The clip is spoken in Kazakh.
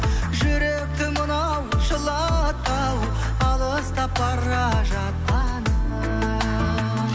жүректі мынау жылатты ау алыстап бара жатқаның